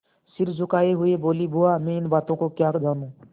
सिर झुकाये हुए बोलीबुआ मैं इन बातों को क्या जानूँ